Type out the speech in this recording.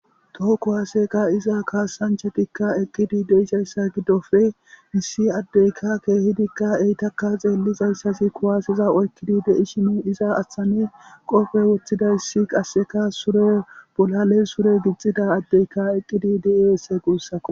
toho kuwaase ka'iza kaasanchatikka eqqidi deisayssa giddofe misi addeyka keehidikka eytakka xeellizayssasi kuwaasiza oykkidi dei shimu iza ashthane qofe woththidayssi qasseka sure bolale sure gixxida addeyka eqqidi diiese guussako